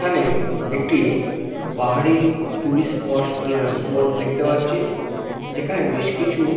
এখানে একটি পাহাড়ি টুরিস্ট স্পট স্পোট দেখতে পাচ্ছি। যেখানে বেশকিছু--